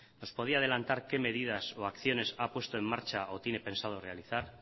nos podía adelantar qué medidas o acciones ha puesto en marcha o tiene pensado realizar